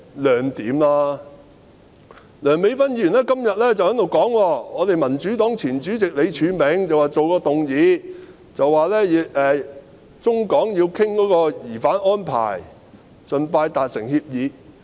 梁美芬議員今天說民主黨前主席李柱銘曾提出議案，指出中港要討論移交逃犯的安排，盡快達成協議。